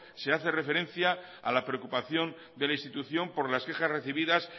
se hace referencia a la preocupación de la institución por las quejas recibidas